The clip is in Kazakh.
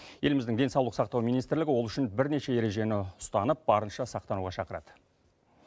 еліміздің денсаулық сақтау министрлігі ол үшін бірнеше ережені ұстанып барынша сақтануға шақырады